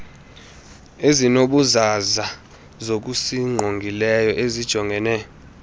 ezinobuzaza zokusingqongileyo esijongene